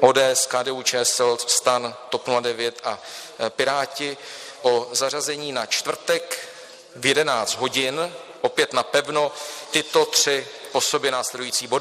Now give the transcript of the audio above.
ODS, KDU-ČSL, STAN, TOP 09 a Piráti o zařazení na čtvrtek v 11 hodin, opět napevno, tyto tři po sobě následující body: